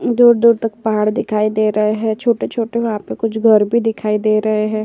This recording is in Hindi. दूर-दूर तक पहाड़ दिखाई दे रहे हैं। छोटे-छोटे वहां पे कुछ घर भी दिखाई दे रहे हैं।